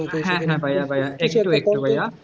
হ্যাঁ হ্যাঁ ভাইয়া ভাইয়া একটু একটু ভাইয়া,